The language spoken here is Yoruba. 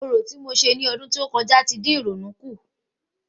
Orò ti mo ṣe ní ọdún tó kọjá tí dín ìrònú kùn